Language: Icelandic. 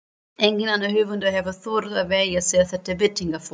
Enginn annar höfundur hefur þorað að velja sér þetta birtingarform.